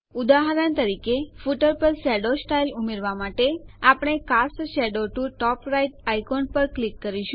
ઉદાહરણ તરીકે ફૂટર પર શેડો સ્ટાઈલ મુકવા માટે આપણે cast shadow to top right icon પર ક્લિક કરીશું